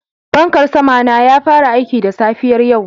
Fankan sama na ya fara aiki da safiyar yau